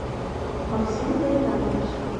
максим гайнанович